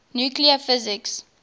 nuclear physics